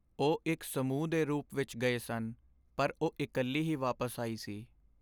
ਉਹ ਇੱਕ ਸਮੂਹ ਦੇ ਰੂਪ ਵਿੱਚ ਗਏ ਸਨ ਪਰ ਉਹ ਇਕੱਲੀ ਹੀ ਵਾਪਸ ਆਈ ਸੀ।